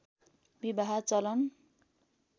विवाह चलन